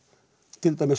til dæmis